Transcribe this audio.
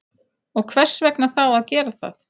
Og hvers vegna þá að gera það?